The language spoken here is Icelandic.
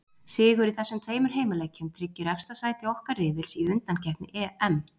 Sigur í þessum tveimur heimaleikjum tryggir efsta sæti okkar riðils í undankeppni EM.